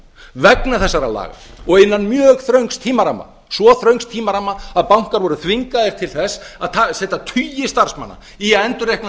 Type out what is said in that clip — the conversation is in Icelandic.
vegna þessara laga og innan mjög þröngs tímaramma svo þröngs tímaramma að bankar voru þvingaðir til þess að setja tugi starfsmanna í að endurreikna